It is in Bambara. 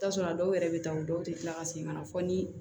I bi taa sɔrɔ a dɔw yɛrɛ be taa u dɔw te kila ka segin ka na fɔ ni